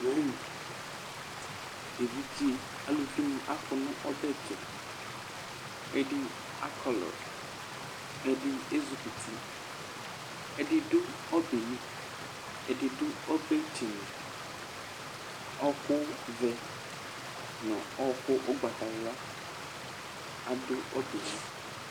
Evidze aluvinɩ akɔ nʋ ɔbɛ tʋ Ɛdɩ akɔlʋ, ɛdɩ ezikuti, ɛdɩ dʋ ɔbɛ yɛ li, ɛdɩ dʋ ɔbɛtsenu Ɔɣɔkʋvɛ nʋ ɔɣɔkʋ ʋgbatawla adʋ ɔbɛ yɛ li